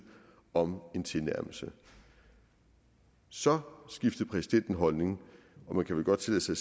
om en tilnærmelse så skiftede præsidenten holdning og man kan vel godt tillade sig